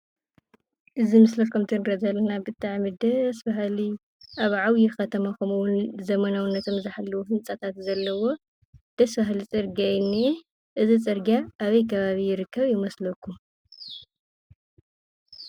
እዚ ኣብ ምስሊ ከም እቲ እንሪኦ ዘለና ብጣዕሚ ደስ በሃሊ ኣብ ዓብይ ከተማ ከምኡ እውን ዘመናዊነቶም ዝሓለዉ ህንፃታት ዘለዎ ደስ በሃሊ ፅርግያ እዩ ዝንኤ፡፡ እዚ ፅርግያ ኣበይ ከባቢ ይርከብ ይመስለኩም?